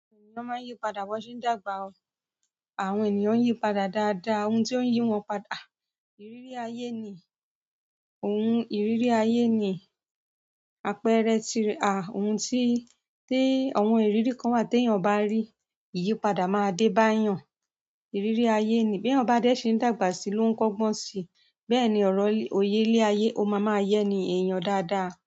Won máa ń yí padà bon ṣe ń dàgbà o. Àwọn ènìyàn n yí padà dáadáa. Ohun tí ó ń yí wọn padà, ìrírí ayé ni. Oun ìrírí ayé ni àpẹẹrẹ tirẹ̀, ohun tí awọ́n ìrírí kan wa tẹ́yàn bá rí, ìyípadà máa dé bá eeyàn. Ìrírí ayé ni. Bí èèyàn ba dẹ́ ṣe ń dàgbà sí i ló ń kọ́gbọ́n si. Bẹ́ẹ̀ ni ọ̀rọ̀ oye ilé ayé, ó máa máa yẹ èèyàn dáadáa.